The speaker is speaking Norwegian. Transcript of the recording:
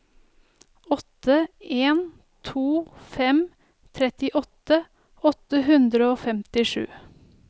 åtte en to fem trettiåtte åtte hundre og femtisju